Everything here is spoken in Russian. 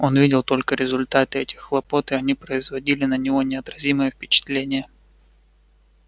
он видел только результаты этих хлопот и они производили на него неотразимое впечатление